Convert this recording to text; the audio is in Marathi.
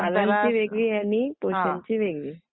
पालन चि वेगळी आणि पोषण ची वेगळी